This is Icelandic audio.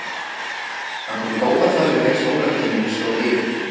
Hann kom í góðar þarfir þegar skólatíminn stóð yfir.